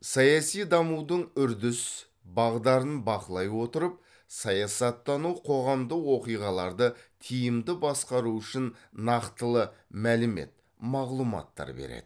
саяси дамудың үрдіс бағдарын бақылай отырып саясаттану қоғамдық оқиғаларды тиімді басқару үшін нақтылы мәлімет мағлұматтар береді